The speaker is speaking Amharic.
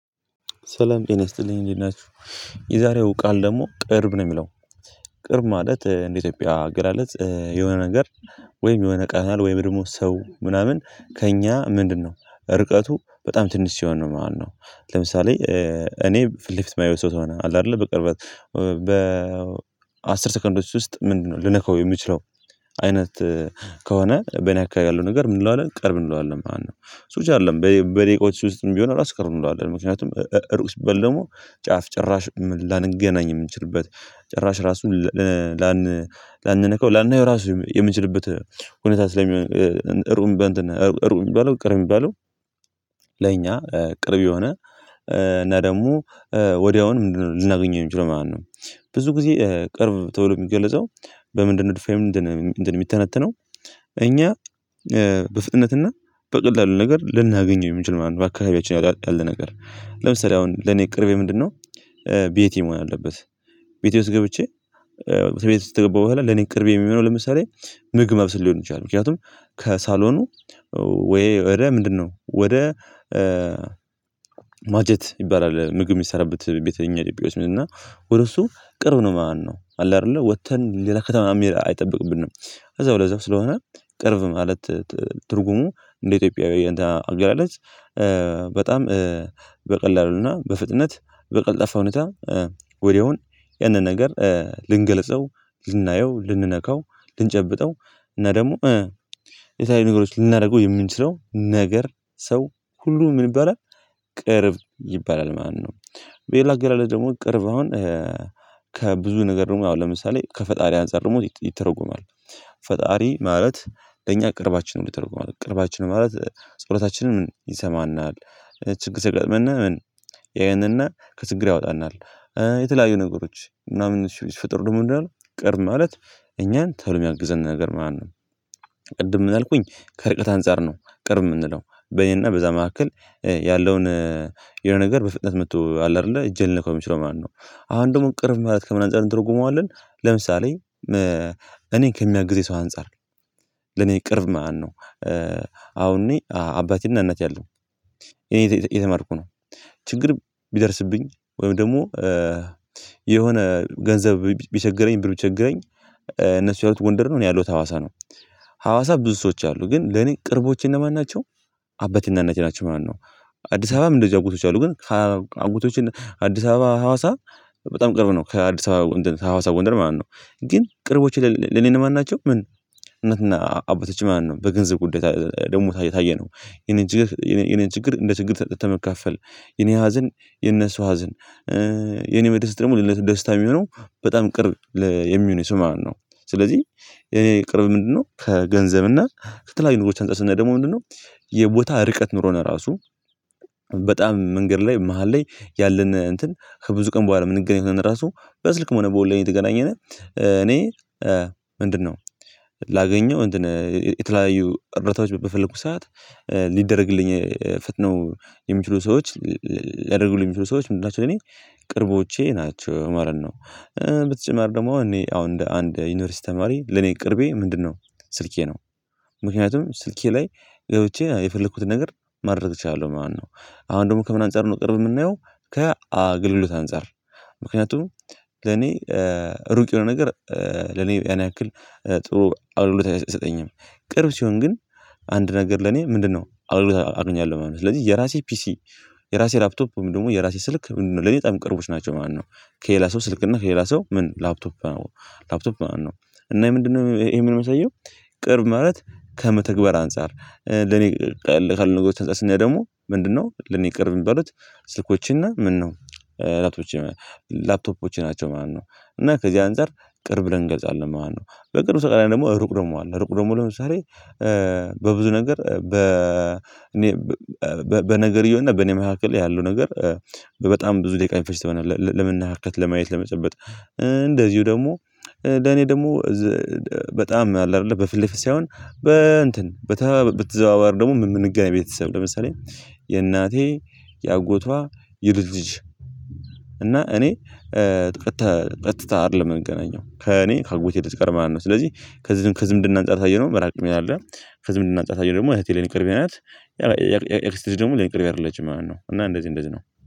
ሰላም ጤና ይስጥልኝ እንዴት ናችሁ የዛሬው ቃል ደግሞ ቅርብ ነው ሚለው። ቅርብ ማለት እንደ ኢትዮጵያ አገላለጽ የሆነ ነገር ወይም የሆነ ቃናል ወይም ደግሞ ሰው ምናምን ከእኛ ምንድነው? ርቀቱ በጣም ትንሽ ሲሆን ነው ማለት ነው። ለምሳሌ እኔ ፊት ለፊት ማየው ሰው ከሆነ አለ አይደለ በቅርበት። በአስር ሰከንዶች ውስጥ ምንድነው ልነካው የምችለው። አይነት ከሆነ በኔ አካባቢ ያለው ነገር ምን እንለዋለን ቅርብ እንለዋለን ማለት ነው። እሱ ብቻ አይደለም በ በደቂቃዎች ውስጥም ቢሆን እራሱ ቅርብ እንለዋለን። ምክንያቱም እ እ እሩቅ ሲባል ደግሞ ጫፍ ጭራሽ ምን ላንገናኝ የምንችልበት ጭራሽ ራሱን ለ ላን ላንነካው ላናየው ራሱ የም የምንችልበት ሁኔታ ስለሚሆን እሩም በእንትን እሩቅ ሚባለው ቅርብ ሚባለው። ለኛ ቅርብ የሆነ እና ደግሞ ወዲያውኑ ል ልናገኘው የምንችለው ማለት ነው። ብዙ ጊዜ ቅርብ ተብሎ ሚገለጸው በምንድነው ዲፋይን እንትን እንትን ሚተነተነው። እኛ በፍጥነትና በቀላሉ ነገር ልናገኘው የምንችለው መሃል አካባቢያችን ያለ ነገር ለምሳሌ አሁን ለኔ ቅርቤ ምንድነው ቤቴ መሆን አለበት። ቤቴ ውስጥ ገብቼ ከቤት ውስጥ ከገባሁ በኋላ ለኔ ቅርብ የሚሆነው ለምሳሌ ምግብ ማብሰል ሊሆን ይችላል። ምክንያቱም ከሳሎኑ ወይ ወደ ምንድነው ወደ ማጀት ይባላል ምግብ የሚሰራበት። ቤት እኛ ወደ እሱ ቅርብ ነው ማለት ነው አለ አይደለ ወጥተን ሌላ ከተማ መሄድ አይጠበቅብንም። እዛው ለዛው ስለሆነ ቅርብ ማለት ትርጉሙ እንደ ኢትዮጵያዊ እንትን አገላለጽ። በጣም በቀላሉ እና በፍጥነት በቀልጣፋ ሁኔታ ወዲያውን ያንን ነገር ልንገልጸው ልናየው ልንነካው ልንጨብጠው እና ደግሞ የተለያዩ ነገሮች ልናደርገው የምንችለው ነገር። ሰው ሁሉ ምን ይባላል ቅርብ ይባላል ማነው? በሌላ አገላለጽ ደግሞ ቅርብ አሁን ከብዙ ነገር ደግሞ አሁን ለምሳሌ ከፈጣሪ አንፃር ደግሞ ይተረጎማል። ፈጣሪ ማለት ለእኛ ቅርባችን ነው ተብሏል ቅርባችን ነው ማለት ፀሎታችንን ይሰማናል። ችግር ሲያጋጥመን ያየንና ከችግር ያወጣናል። የተለያዩ ነገሮች ምናምን ሲፈጠሩ ደግሞ ምንድነው ያለ ቅርብ ማለት እኛን ቶሎ የሚያግዘን ነገር ማለት ነው። ቅድም ምን አልኩኝ ከርቀት አንፃር ነው ቅርብ የምንለው በኔና በዛ መካከል ያለውን የሆነ ነገር በፍጥነት መጥቶ አለ አይደለ እጄ ሊነካው የሚችለው ማለት ነው። አሁን ደግሞ ቅርብ ማለት ከምን አንፃር እንተረጉመዋለን ለምሳሌ። እኔን ከሚያግዘኝ ሰው አንፃር ለኔ ቅርብ ማለት ነው። አሁን እኔ አባቴን እናቴ አሉ። እኔ እየተማርኩ ነው። ችግር ቢደርስብኝ ወይም ደግሞ የሆነ ገንዘብ ቢቸግረኝ ብር ቢቸግረኝ እነሱ ያሉት ጎንደር ነው እኔ ያለሁት ሐዋሳ ነው። ሀዋሳ ብዙ ሰዎች አሉ ግን ለኔ ቅርቦቼ እነማን ናቸው? አባቴና እናቴ ናቸው ማለት ነው። አዲስ አበባም እንደዚሁ አጎቶቼ አሉ ግን ከአጎቶቼ አዲስ አበባ ሀዋሳ በጣም ቅርብ ነው ከአዲስ አበባ ጎንደር ከሀዋሳ ጎንደር ማለት ነው። ግን ቅርቦቼ ለኔ እነማን ናቸው ምን እናትና አ አባቶቼ ማለት ነው። በገንዘብ ጉዳይ ደግሞ ካየነው የኔን ችግር የኔ ችግር እንደ ችግር ከመካፈል የኔ ሀዘን የነሱ ሀዘን የኔ መድረስ ደግሞ ለነሱ ደስታ የሚሆነው በጣም ቅርብ የሚሆነኝ ሰው ማለት ነው። ስለዚህ የኔ ቅርብ ምንድነው ከገንዘብና ከተለያዩ ነገሮች አንፃር ስናይ ደግሞ ምንድነው? የቦታ ርቀት ኑሮን ራሱ በጣም መንገድ ላይ መሃል ላይ ያለን እንትን ከብዙ ቀን በኋላ የምንገናኝ ቢሆን ራሱ በስልክም ሆነ በኦንላይን እየተገናኘን። እኔ ምንድነው? ላገኘው የተለያዩ እርዳታዎች በፈለኩ ሰዓት ሊደረግልኝ ፈጥነው የሚችሉ ሰዎች ሊያደርጉልኝ የሚችሉ ሰዎች ምንድን ናቸው እኔ ቅርቦቼ ናቸው ማለት ነው። በተጨማሪ ደግሞ እኔ አሁን እንደ አንድ ዩኒቨርሲቲ ተማሪ ለኔ ቅርቤ ምንድነው? ስልኬ ነው። ምክንያቱም ስልኬ ላይ ገብቼ የፈለኩትን ነገር ማድረግ እችላለሁ ማለት ነው። አሁን ደግሞ ከምን አንፃር ነው ቅርብ የምናየው። ከአገልግሎት አንፃር ምክንያቱም ለኔ ሩቅ የሆነ ነገር ለኔ ያን ያክል ጥሩ አገልግሎት አይሰጠኝም። ቅርብ ሲሆን ግን አንድ ነገር ለኔ ምንድነው አገልግሎት አገኛለው ማለት ነው ስለዚህ የራሴ ፒሲ የራሴ ላፕቶፕ ወይም ደግሞ የራሴ ስልክ ምንድነው ለኔ በጣም ቅርቦች ናቸው ማለት ነው። ከሌላ ሰው ስልክና ከሌላ ሰው ምን ላፕቶፕ ነው። ላፕቶፕ ማለት ነው እና ምንድነው ይሄ የሚያሳየው? ቅርብ ማለት ከመተግበር አንፃር ለኔ ከአገልግሎት አንፃር ስናይ ደግሞ ምንድነው ለኔ ቅርብ የሚባሉት ስልኮች እና ምነው ላፕቶፖቼ ላፕቶፖች ናቸው ማለት ነው። እና ከዚህ አንፃር ቅርብ ብለን እንገልጻለን ማለት ነው። በቅርብ ተቃራኒ ደግሞ ሩቅ ደግሞ አለ ሩቅ ደግሞ ለምሳሌ። በብዙ ነገር በ እኔ በነገርየውና በእኔ መካከል ያለው ነገር። በጣም ብዙ ደቂቃ የሚፈጅ ከሆነ ለመነካካት ለማየት ለመጨበጥ እንደዚሁ ደግሞ። ለኔ ደግሞ በጣም አለ አይደለ በፊት ለፊት ሳይሆን በእንትን በተዘዋዋሪ ደግሞ የምንገናኝ ቤተሰብ ለምሳሌ የእናቴ የአጎቷ የልጅ ልጅ። እና እኔ ቀጥታ ቀጥታ አይደለም የምንገናኘው ከእኔ ከአጎቴ ልጅ ጋር ማለት ነው። ስለዚህ ከዝምድና አንፃር ካየነው መራቅ ነው ያለን ከዝምንድና አንፃር ካየነው ደግሞ እህቴ ለኔ ቅርቤ ናት። የአክስቴ ልጅ ደግሞ ለኔ ቅርቤ አይደለችም ማለት ነው። እና እንደዚህ እንደዚህ ነው